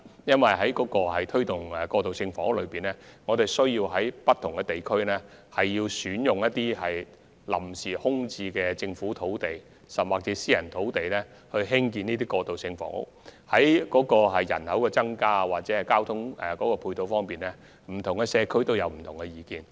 因為推動過渡性房屋時，需要在不同地區選用臨時空置的政府土地甚或私人土地興建這類房屋，而對於人口增加或交通配套問題，不同社區有不同意見。